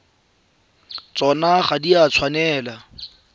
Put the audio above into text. tsona ga di a tshwanela